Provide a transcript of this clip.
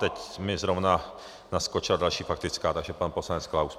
Teď mi zrovna naskočila další faktická, takže pan poslanec Klaus.